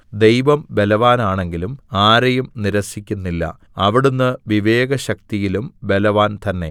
ദൈവം ബലവാനാണെങ്കിലും ആരെയും നിരസിക്കുന്നില്ല അവിടുന്ന് വിവേകശക്തിയിലും ബലവാൻ തന്നെ